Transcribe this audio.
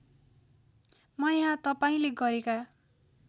म यहाँ तपाईँले गरेका